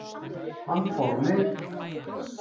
Hann fór á lyf.